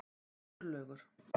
Sturlaugur